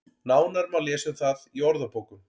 Nánar má lesa um það í orðabókum.